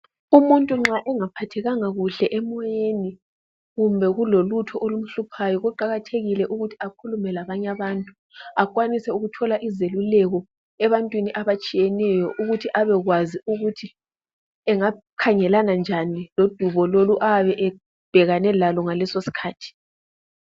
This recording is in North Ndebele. Umuntu nxa ungaphathekanga kuhle emoyeni kumbe kulolutho olukuhluphayo kuqakathekile ukuthi akhulume labanye abantu kwanise ukuthola izeluleko ebantwini abatshiyeneyo ukuthi abekwazi ukuthi engakhangelana njani lodubo lolu ayabe ebhekane lalo ngaleso sikhathi.